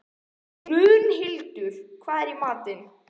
Mundhildur, hvað er í matinn?